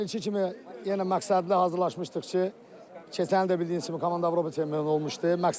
Hər ilki kimi yenə məqsədli hazırlaşmışdıq ki, keçən il də bildiyiniz kimi komanda Avropa çempionu olmuşdu.